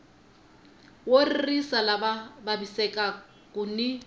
wo ririsa lava vavisekaku ni